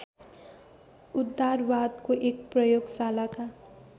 उदारवादको एक प्रयोगशालाका